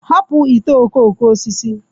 Hapụ ite okooko osisi.